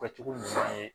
Kɛcogo ɲuman ye